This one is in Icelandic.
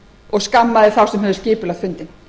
og skammaði þá sem höfðu skipulagt fundinn